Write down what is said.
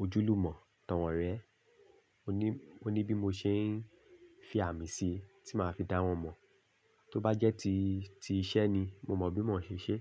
ojúlùmọ̀, tàn wọ́n rẹ́. O ní, o ní bí mo ṣe ń fi àmì sí tí màá fi dá wọn mọ̀. Tó bá jẹ́ ti, ti iṣẹ́ ni mo mọ bí mò ń ṣe ṣe.